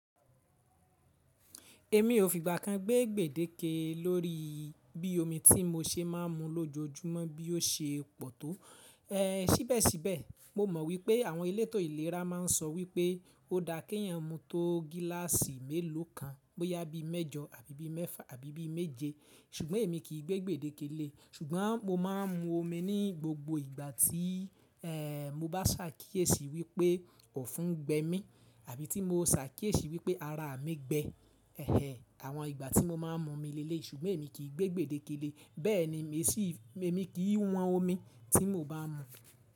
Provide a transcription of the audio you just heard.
Èmi ò fìgbà kan gbé gbèdéke lórí bí omi tí mo ṣe má a mu lójoojúmọ́ bí ó ṣe pọ̀ tó. Sí bẹ́ẹ̀ sí bẹ́ẹ̀, mo mọ̀ wípé àwọn elétò ìlera má a n sọ wípé ó dáa kí ẹ̀yàn mu tó gíláàsì mélòó kan bóyá bí mẹ́jọ àbí bí mẹ́fà àbí bí méje, ṣùgbọ́n èmi kì í gbé gbèdéke lé. Ṣùgbọ́n mo má a n mu omi ní gbogbo ìgbà tí mo bá ṣàkíyèsí wípé ò fún gbé mi àbí tí mo ṣàkíyèsí wípé ara mi gbẹ. Àwọn ìgbà tí mo má a n mu mi lé léyi, ṣùgbọ́n èmi kì í gbé gbèdéke lé, bẹ́ẹ̀ ni èmi kì í wọn omi tí mo bá mu.